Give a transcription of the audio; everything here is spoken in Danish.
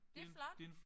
Det flot